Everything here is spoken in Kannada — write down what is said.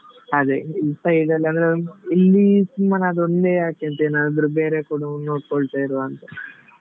ಅದೆ ಈ side ಅಲ್ಲಿ ಅಂದ್ರೆ ಇಲ್ಲಿ ಸುಮ್ಮನ್ ಅದೊಂದೆ ಯಾಕೆ ಅಂತ ಏನಾದ್ರು ಬೇರೆ ಕೊಡು ನೋಡ್ಕೊಳ್ತಾ ಇರುವ ಅಂತ.